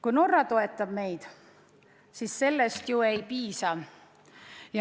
Kui Norra toetab meid, siis sellest ju ei piisa.